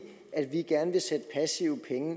en